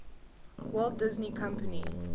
walt disney company